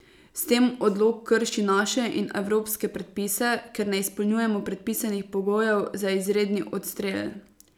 S tem odlok krši naše in evropske predpise, ker ne izpolnjujemo predpisanih pogojev za izredni odstrel.